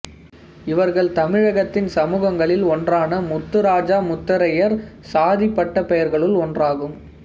இவர்கள் தமிழகத்தின் சமூகங்களில் ஒன்றான முத்துராஜா முத்தரையர் சாதிப் பட்ட பெயர்களுள் ஒன்றாகும்